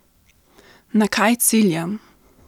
Na kaj ciljam?